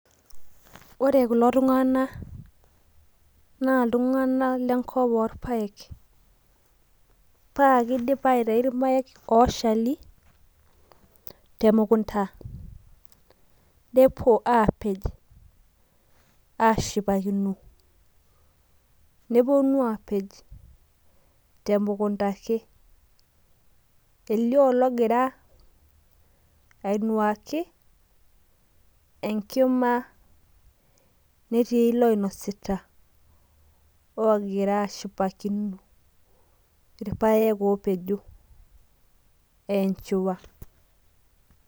ore kulo tung'anak naa lltung'anak lenkop oo irpaek paa kidipa aitau irpaek oshali temukunda nepuonu apej ashipakino temukunta ake elio ologira anuaki nelio ologira anya, egira niche ashipaki irpaek opejo aa echiwa.